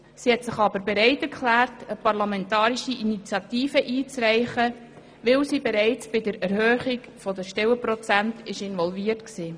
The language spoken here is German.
Sie hat sich aber bereiterklärt, eine parlamentarische Initiative einzureichen, weil sie bereits bei der Erhöhung der Stellenprozente involviert war.